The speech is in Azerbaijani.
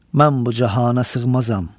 Mən bu cahana sığmazam.